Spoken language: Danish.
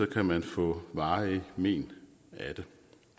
kan man få varige men af det